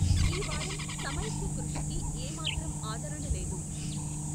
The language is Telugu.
ఈ వారం సమైక్య కృషికి ఏ మాత్రం ఆదరణ లేదు.